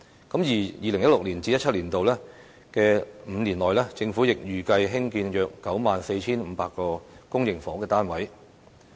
在 2016-2017 年度起的5年內，政府亦預計興建約 94,500 個公營房屋單位。